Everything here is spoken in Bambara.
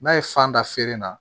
N'a ye fan da feere na